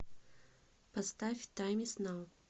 поставь тайм из нау